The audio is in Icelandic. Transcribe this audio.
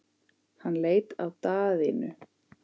Hann leit á Daðínu.